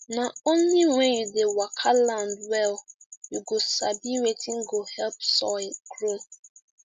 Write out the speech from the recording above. na only when you dey waka land well you go sabi wetin go help soil grow